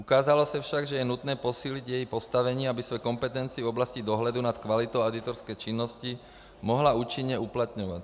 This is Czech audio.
Ukázalo se však, že je nutné posílit její postavení, aby své kompetence v oblasti dohledu nad kvalitou auditorské činnosti mohla účinně uplatňovat.